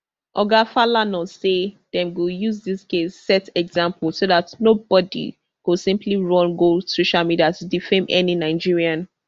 oga falana say dem go use dis case set example so dat nobody go simply run go social media to defame any nigerian